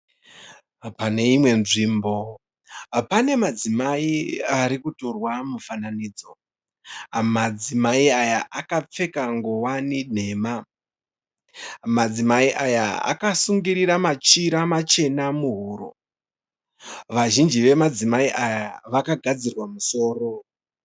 Pane imwe nzvimbo pane madzimai arikutorwa mufananidzo. Madzimai aya akapfeka ngowani nhema . Madzimai aya akasungirira machira machena muhuro . Vazhinji vemadzimai aya vakagadzirwa musoro.